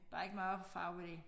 Der ikke meget farve i det